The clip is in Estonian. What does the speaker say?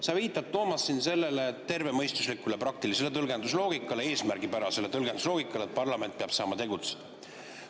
Sa viitad, Toomas, tervemõistuslikule praktilisele tõlgendusloogikale, eesmärgipärasele tõlgendusloogikale, et parlament peab saama tegutseda.